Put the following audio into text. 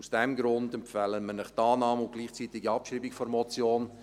Aus diesem Grund empfehlen wir Ihnen die Annahme und gleichzeitige Abschreibung der Motion.